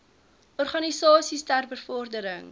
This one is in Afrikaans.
organisasies ter bevordering